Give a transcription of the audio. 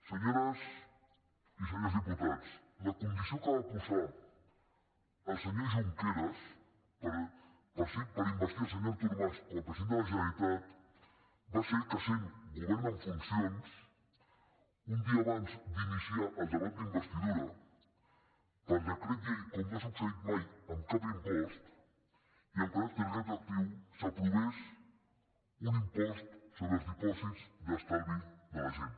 senyores i senyors diputats la condició que va posar el senyor junqueras per investir el senyor artur mas com a president de la generalitat va ser que sent govern en funcions un dia abans d’iniciar el debat d’investidura per decret llei com no ha succeït mai amb cap impost i amb caràcter retroactiu s’aprovés un impost sobre els dipòsits d’estalvi de la gent